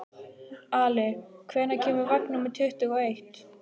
Ali, hvenær kemur vagn númer tuttugu og eitt?